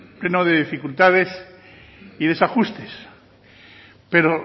pleno de dificultades y desajustes pero